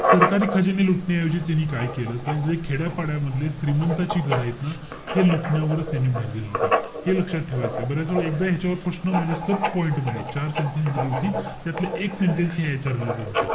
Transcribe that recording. सरकारी खजिने लुटण्याऐवजी त्यांनी काय केलं? त जे खेड्यापाड्यामधले श्रीमंतांची घरं आहेत ना, हे लुटण्यावर त्यांनी भर दिला होता. हे लक्षात ठेवायचय. बऱ्याचवेळा, एकदा ह्याच्यावर प्रश्न म्हणजे sub-point मध्ये चार sentence दिली होती. त्यातले एक sentence हे याच्या related होतं.